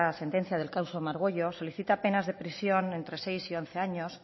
sentencia del caso margüello solicita penas de prisión entre seis y once años